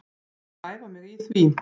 Ég er að æfa mig í því.